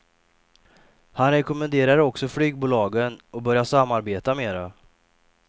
Han rekommenderar också flygbolagen att börja samarbeta mera.